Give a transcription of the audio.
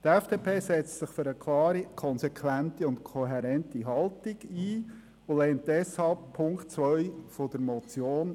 Die FDP setzt sich für eine klare, konsequente und kohärente Haltung ein und lehnt Punkt 2 der Motion deshalb ab.